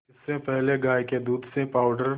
इससे पहले गाय के दूध से पावडर